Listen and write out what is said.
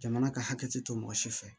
Jamana ka hakɛ to mɔgɔ si fɛ